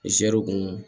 zɛriw kun